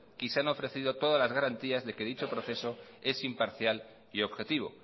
y se han ofrecido todas las garantías de que dicho proceso es imparcial y objetivo